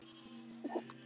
Sjáumst þótt síðar verði.